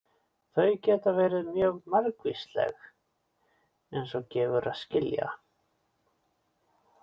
Þau geta verið mjög margvísleg eins og gefur að skilja.